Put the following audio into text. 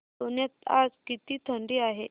पुण्यात आज किती थंडी आहे